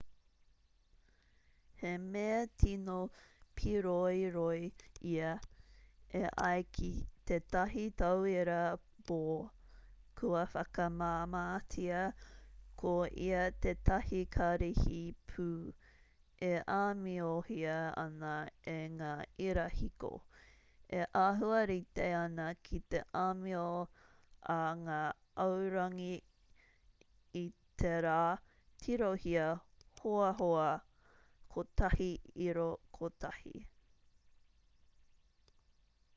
he mea tino pīroiroi ia e ai ki tētahi tauira bohr kua whakamāmātia ko ia tētahi karihi pū e āmiohia ana e ngā irahiko e āhua rite ana ki te āmio a ngā aorangi i te rā tirohia hoahoa 1.1